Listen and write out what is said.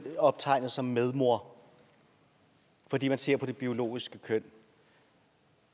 optegnet som medmor fordi man ser på det biologiske køn